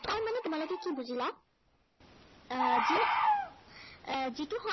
যিটো কথাই মানে তোমালোকে কি বুজিলা। এৰ যি এৰ